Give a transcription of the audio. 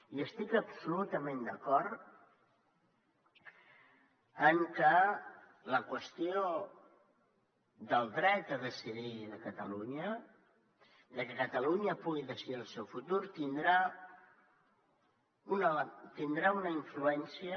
i estic absolutament d’acord que la qüestió del dret a decidir de catalunya que catalunya pugui decidir el seu futur tindrà una influència